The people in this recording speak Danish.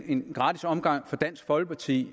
en gratis omgang for dansk folkeparti